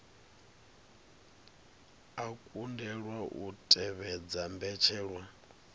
a kundelwa u tevhedza mbetshelwa